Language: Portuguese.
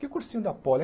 Que cursinho da Poli?